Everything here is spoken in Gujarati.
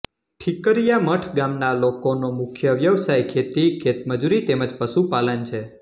ઠિકરીયા મઠ ગામના લોકોનો મુખ્ય વ્યવસાય ખેતી ખેતમજૂરી તેમ જ પશુપાલન છે